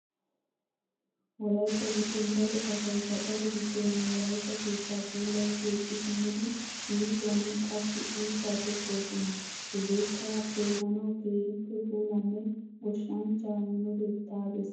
Wolaytta giddon daro asay gaxare giddon wolaytta keettaa puulayi keexxi simmidi yuushuwan qassi uuttaa tokkoosona. Heegeekka xeellanawu keehippe puulanne goshshanchchaa minotetta besses.